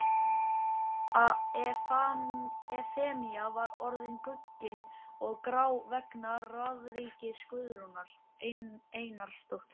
Efemía var orðin guggin og grá vegna ráðríkis Guðrúnar Einarsdóttur.